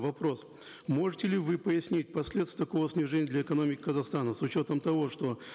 вопрос можете ли вы пояснить последствия такого снижения для экономики казахстана с учетом того что